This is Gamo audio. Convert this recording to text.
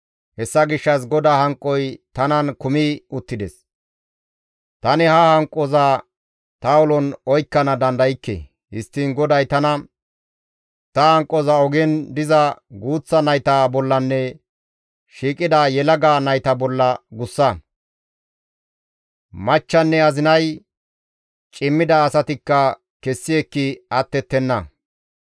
Hessa gishshas GODAA hanqoy tanan kumi uttides; tani ha hanqoza ta ulon oykkana dandaykke. Histtiin GODAY tana, «Ta hanqoza ogen diza guuththa nayta bollanne shiiqida yelaga nayta bolla gussa; machchanne azinay, cimmida asatikka kessi ekki attettenna.